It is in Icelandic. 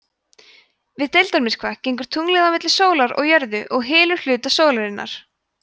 við deildarmyrkva gengur tunglið á milli sólar og jörðu og hylur hluta sólarinnar